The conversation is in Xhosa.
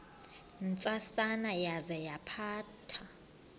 ntsasana yaza yaphatha